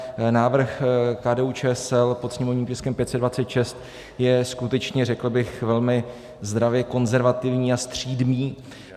Návrh KDU-ČSL pod sněmovním tiskem 526 je skutečně, řekl bych, velmi zdravě konzervativní a střídmý.